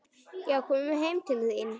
Já, komum heim til þín.